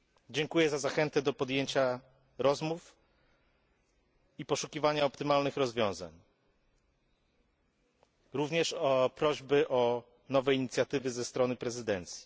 Dziękuję za zachętę do podjęcia rozmów i poszukiwania optymalnych rozwiązań, również za prośby o nowe inicjatywy ze strony prezydencji.